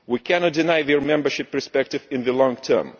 We cannot deny their membership perspective in the long term.